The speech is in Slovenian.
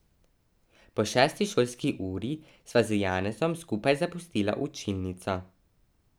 Po šesti šolski uri sva z Janezom skupaj zapustila učilnico.